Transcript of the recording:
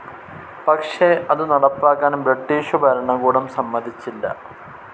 പക്ഷെ അതു നടപ്പാക്കാൻ ബ്രിട്ടീഷു ഭരണകൂടം സമ്മതിച്ചില്ല.